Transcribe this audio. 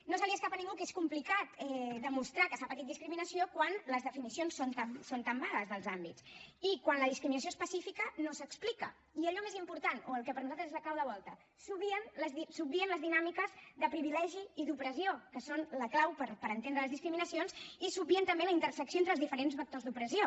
no se li escapa a ningú que és complicat demostrar que s’ha patit discriminació quan les definicions són tan vagues dels àmbits i quan la discriminació específica no s’explica i allò més important o el que per nosaltres és la clau de volta s’obvien les dinàmiques de privilegi i d’opressió que són la clau per entendre les discriminacions i s’obvien també la intersecció entre els diferents vectors d’opressió